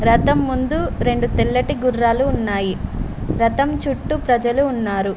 రథం ముందు రెండు తెల్లటి గుర్రాలు ఉన్నాయి రథం చుట్టూ ప్రజలు ఉన్నారు.